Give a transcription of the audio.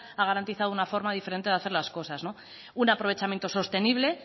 ha garantizado una forma diferente de hacer las cosas un aprovechamiento sostenible